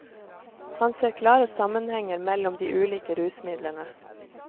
Han ser klare sammenhenger mellom de ulike rusmidlene.